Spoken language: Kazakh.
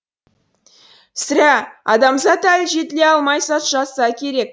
сірә адамзат әлі жетіле алмай жатса керек